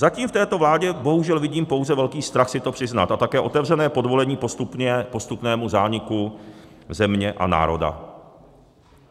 Zatím v této vládě bohužel vidím pouze velký strach si to přiznat a také otevřené podvolení postupnému zániku země a národa.